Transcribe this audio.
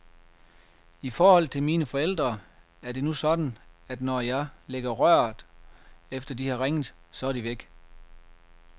I forhold til mine forældre, er det nu sådan, at når jeg lægger røret, efter de har ringet, så er de væk.